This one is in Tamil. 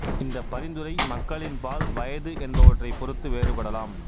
இந்த பரிந்துரை மக்களின் பால் வயது என்பவற்றைப் பொறுத்து வேறுபடலாம்